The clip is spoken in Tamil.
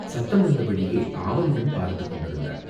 சத்தம் வந்த வழியே ஆவலுடன் பார்த்துக் கொண்டிருந்தாள்.